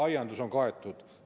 Aiandus on kaetud.